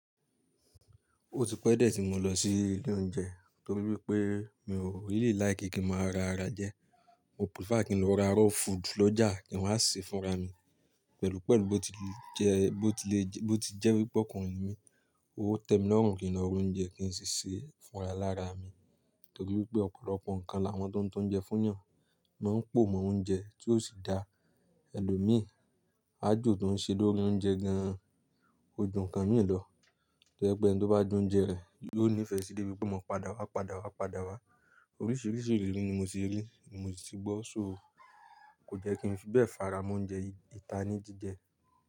Ó ti pẹ́ diẹ̀ tí mo lọ sí ilé oúnjẹ torí wípé mi ò really like kí n máa ra ara jẹ. Mo prefer kí n lọ ra raw food lọ́jà kí waa n ṣe fúnra mi pẹ̀lú pẹ̀lu bó ti le jẹ́, bó ti jẹ́ wípé ọkùnrin ni mí. Ó tẹ́ mi lọ́rùn kí n lo ra oúnjẹ kí n sì sè é fúnra lára mi torí wípé ọ̀pọ̀lọpọ̀ nǹkan làwọn tó ń ta ounjẹ fún eeyàn. Máa ń pò mọ oúnjẹ tí ó sì dá ẹlòmíì. Á jó tó ń ṣe lórí oúnjẹ gan-an, ojú kan mì lọ. To jepe ẹni tó bá jẹ oúnjẹ rẹ̀ yóò nífẹ̀ẹ́ sí debí wípé yo ma padà wá, padà wá, padà wá. Oríṣìíríṣìí ìrírí ni mo ti rí, ni mo si ti gbọ́, ṣo kò jẹ́ kí n fi bẹ́ẹ̀ fara móúnjẹ ìta ní jíjẹ.